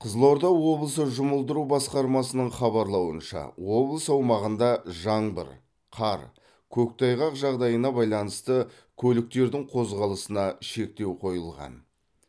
қызылорда облысы жұмылдыру басқармасының хабарлауынша облыс аумағында жаңбыр қар көктайғақ жағдайына байланысты көліктердің қозғалысына шектеу қойылған